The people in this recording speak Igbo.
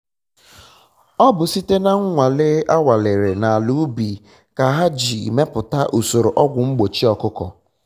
ọ bụ site na nnwale anwalere na ala ubi ka ha ji meputa usoro ọgwu mgbochi ọkụkọ